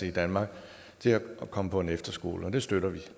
i danmark til at komme på en efterskole det støtter vi